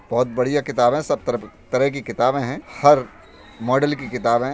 बहोत बढियाँ किताब हैं। सब तर तरह की किताब हैं। हर मॉडल की किताब हैं।